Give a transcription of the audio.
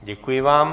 Děkuji vám.